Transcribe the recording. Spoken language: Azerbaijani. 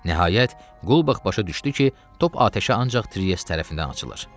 Nəhayət, Qulbax başa düşdü ki, top atəşə ancaq Tries tərəfindən açılır.